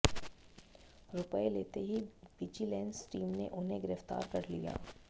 रुपये लेते ही विजिलेंस टीम ने उन्हें गिरफ्तार कर लिया